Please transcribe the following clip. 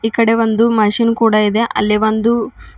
ಈ ಕಡೆ ಒಂದು ಮೆಷಿನ್ ಕೂಡ ಇದೆ ಅಲ್ಲಿ ಒಂದು--